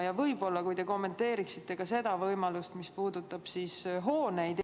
Võib-olla te kommenteeriksite ka seda võimalust, mis puudutab hooneid.